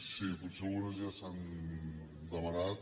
sí potser algunes ja s’han demanat